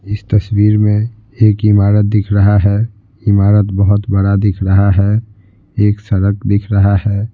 इस तस्वीर में एक इमारत दिख रहा है इमारत बहुत बड़ा दिख रहा है एक सड़क दिख रहा है ।